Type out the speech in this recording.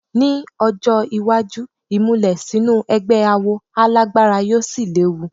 Ní ọjọ́ iwájú, ìmùlẹ̀ sínú ẹgbẹ́ awo á lágbára yóò sì léwu.